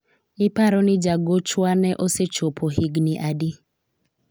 iparo ni jagochwa no osechopo higni adi ?